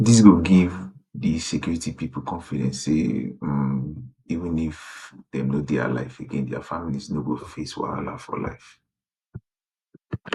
dis go give di security pipo confidence say um even if dem no dey alive again dia families no go face wahala for life